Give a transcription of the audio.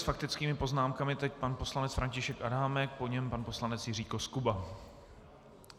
S faktickými poznámkami teď pan poslanec František Adámek, po něm pan poslanec Jiří Koskuba.